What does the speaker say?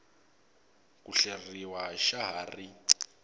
ku hleriwa xa ha ri